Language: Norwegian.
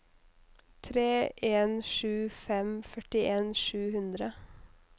tre en sju fem førtien sju hundre